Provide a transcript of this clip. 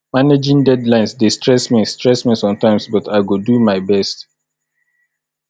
managing deadlines dey stress me stress me sometimes but i go do my best